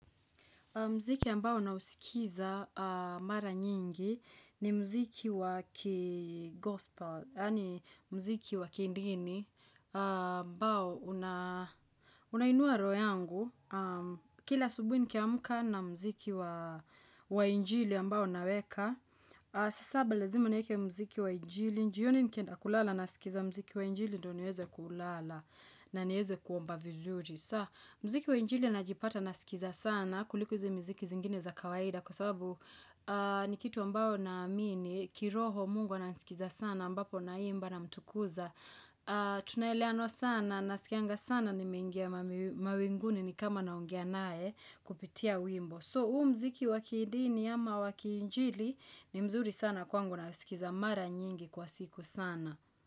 Mziki ambao na usikiza mara nyingi ni mziki wa ki-gospel, yani mziki wa ki-dini ambao unainua roho yangu. Kila asubuhi nikamka na mziki wa injili ambao naweka, saa saba lazima nieke mziki wa injili. Jioni nikenda kulala nasikiza mziki wa injili ndio nieze kulala na niweze kuomba vizuri. Mziki wa injili najipata na sikiza sana kuliko izi mziki zingine za kawaida kwa sababu ni kitu ambao na amini, kiroho mungu ananisikiza sana ambapo na imba na mtukuza. Tunaeleano sana nasikianga sana nimeingia mawinguni ni kama naongea nae kupitia wimbo. So huu mziki wakidini ama wakiinjili ni mzuri sana kwangu na sikiza mara nyingi kwa siku sana.